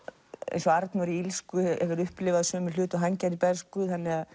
eins og Arnór í illsku hefur upplifað sömu hluti og hann gerði í bernsku